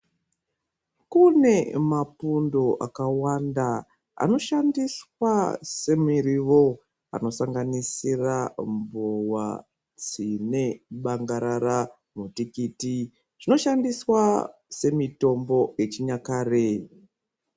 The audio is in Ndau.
Kune mapundo akawanda anoshandiswa semurivo anosanganisira mbowa tsine bangarara mutikiti zvinoshandiswa semitombo yechinyakare .